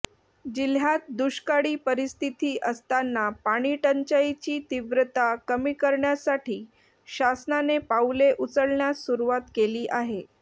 जिल्ह्यात दुष्काळी परिस्थिती असतांना पाणी टंचाईची तीव्रता कमी करण्यासाठी शासनाने पाऊले उचलण्यास सुरुवात केली आहे